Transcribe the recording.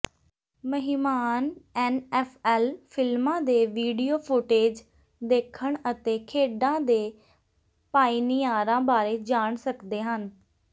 ਮਹਿਮਾਨ ਐਨਐਫਐਲ ਫਿਲਮਾਂ ਦੇ ਵੀਡੀਓ ਫੁਟੇਜ ਦੇਖਣ ਅਤੇ ਖੇਡਾਂ ਦੇ ਪਾਇਨੀਅਰਾਂ ਬਾਰੇ ਜਾਣ ਸਕਦੇ ਹਨ